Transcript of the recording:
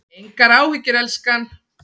Engar áhyggjur, elskan.